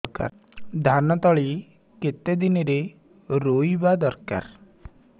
ଧାନ ତଳି କେତେ ଦିନରେ ରୋଈବା ଦରକାର